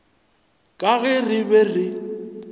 ka ge re be re